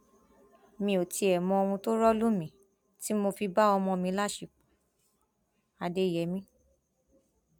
mi ò tiẹ mọ ohun tó rọ lù mí tí mo fi bá ọmọ mi láṣepọ adéyèmí